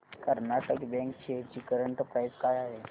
Karnataka bank shares ची current price काय आहे